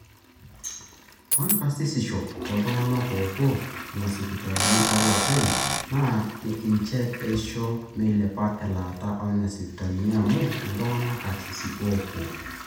ore karsisisho ooltung'anak oopuo nena sipitalini ooloopeny naa inche oisho meilepa elaata oonena sipitalini amu iltung'anak karsisi oopuo